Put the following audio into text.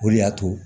O de y'a to